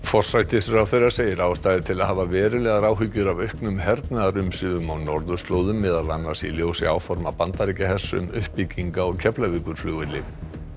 forsætisráðherra segir ástæðu til að hafa verulegar áhyggjur af auknum hernaðarumsvifum á norðurslóðum meðal annars í ljósi áforma Bandaríkjahers um uppbyggingu á Keflavíkurflugvelli